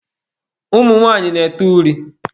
Ụmụ nwanyị na-ete uri.